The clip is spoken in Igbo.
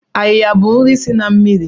Ayiya bụ nri si na mmiri.